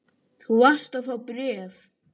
Þú varst að fá bréf.